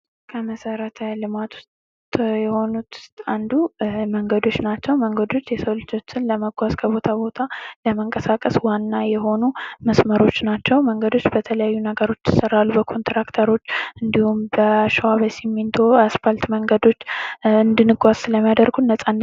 ከመሰረተ ልማት የሆኑት ውስጥ አንዱ መንገዶች ናቸው። መንገዶች የሰው ልጆችን ለመጓዝ ከቦታ ቦታ ለማንቀሳቀስ ዋና የሆኑ መስመሮች ናቸው። መንገዶች በተለያዩ ነገሮች ይሰራሉ በኮንተራክተሮች እንዲሁም በአሽዋ በስሚቶ አስፓልት መንገዶች እንድንጓዝ ስለሚያደርጉን ነፃነት